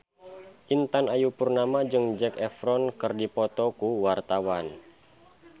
Intan Ayu Purnama jeung Zac Efron keur dipoto ku wartawan